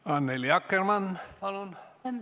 Annely Akkermann, palun!